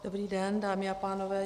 Dobrý den, dámy a pánové.